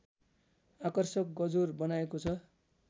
आकर्षक गजुर बनाइएको छ